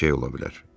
Hər şey ola bilər.